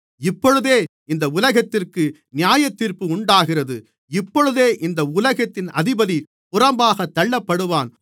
இப்பொழுதே இந்த உலகத்திற்கு நியாயத்தீர்ப்பு உண்டாகிறது இப்பொழுதே இந்த உலகத்தின் அதிபதி புறம்பாகத் தள்ளப்படுவான்